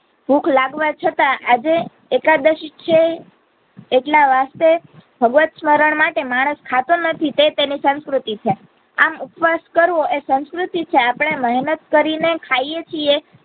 ભૂખ લાગવા છતાં આજે એકાદશી છે એટલા માટે ભગવત સ્મરણ માટે માણસ ખાતો નથી રીતે તેની સંસ્કૃતી છે આમ ઉપવાસ કરવો એ સંસ્કૃતિ છે મહેનત કરી ને ખાઈ એ છીએ